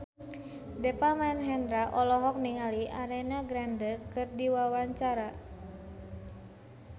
Deva Mahendra olohok ningali Ariana Grande keur diwawancara